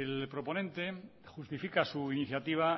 el proponente justifica su iniciativa